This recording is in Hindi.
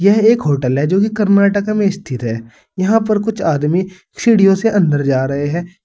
यह एक होटल है जो कि कर्नाटक में स्थित है यहां पर कुछ आदमी सीढ़ियों से अंदर जा रहे हैं।